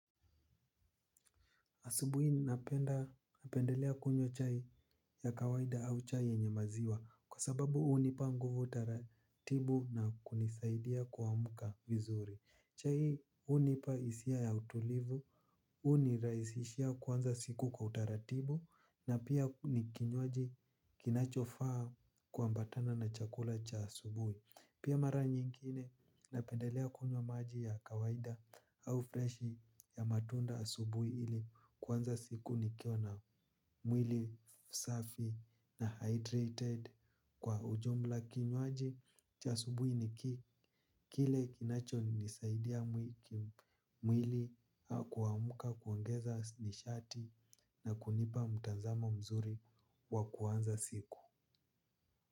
Asubui napenda, napendelea kunywa chai ya kawaida au chai yenye maziwa. Kwa sababu unipa nguvu utaratibu na kunisaidia kuamuka vizuri. Chai unipa hisia ya utulivu, uniraisishia kuanza siku kwa utaratibu. Na pia nikinywaji kinachofaa kuambatana na chakula cha asubui. Pia mara nyingine napendelea kunywa maji ya kawaida au fresh ya matunda asubui ili kuanza siku nikiona mwili safi na hydrated kwa ujumla kinywaji cha asubui niki kile kinacho nisaidia mwili kuamuka kuongeza nishati na kunipa mutazamo mzuri wa kuanza siku.